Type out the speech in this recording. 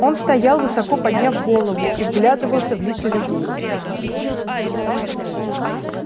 он стоял высоко подняв голову и вглядывался в лица людей